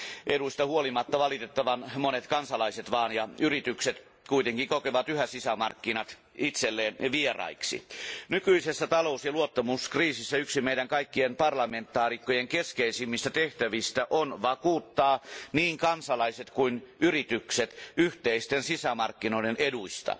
Eduista huolimatta valitettavan monet kansalaiset ja yritykset kuitenkin kokevat yhä sisämarkkinat itselleen vieraiksi. Nykyisessä talous ja luottamuskriisissä yksi meidän kaikkien parlamentaarikkojen keskeisimmistä tehtävistä on vakuuttaa niin kansalaiset kuin yritykset yhteisten sisämarkkinoiden eduista.